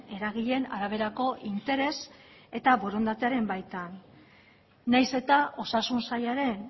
eragileen araberako interes eta borondatearen baitan nahiz eta osasun sailaren